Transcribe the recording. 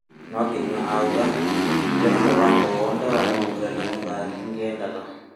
No Kinyua aũga "ndire na mũbango owothe wa kumũgũrarĩa mũthaki ngĩendaga"